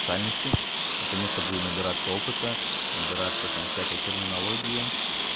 наконец-то буду набираться опыта набираться там всякой терминологии